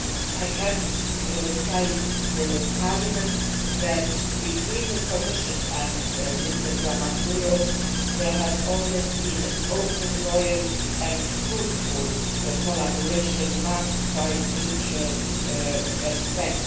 I can tell the House that between the Commission and Mr Diamandouros there has always been open, loyal and fruitful collaboration marked by mutual respect.